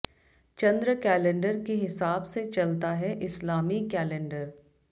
चंद्र calendar के हिसाब से चलता है इस्लामी कैलेंडर